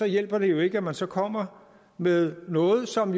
hjælper jo ikke at man så kommer med noget som